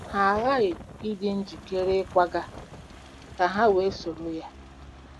Ha aghaghị ịdị njikere ịkwaga ka ha wee soro ya.